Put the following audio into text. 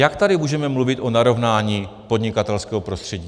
Jak tady můžeme mluvit o narovnání podnikatelského prostředí?